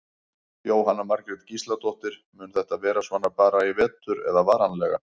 Jóhanna Margrét Gísladóttir: Mun þetta vera svona bara í vetur eða varanlega?